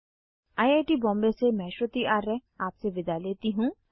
I I T Bombay से मैं श्रुति आर्य आपसे विदा लेती हूँ